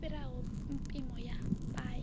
i fhiraho mpimo ya paye